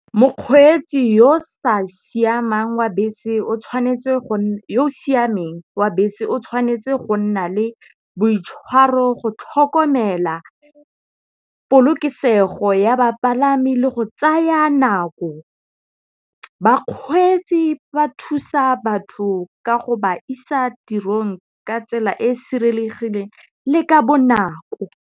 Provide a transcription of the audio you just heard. Mokgweetsi yoo siameng wa bese o tshwanetse go nna le boitshwaro go tlhokomela polokesego ya bapalami le go tsaya nako. Bakgweetsi ba thusa batho ka go ba isa tirong ka tsela e sireletsegileng le ka bonako.